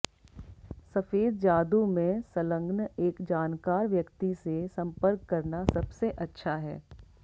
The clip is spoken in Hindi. सफेद जादू में संलग्न एक जानकार व्यक्ति से संपर्क करना सबसे अच्छा है